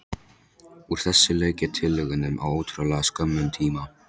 Úr þessu lauk ég tillögunum á ótrúlega skömmum tíma.